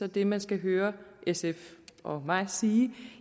det man skal høre sf og mig sige